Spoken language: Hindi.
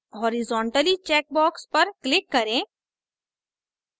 हॉरिज़ोंटली check box पर click करें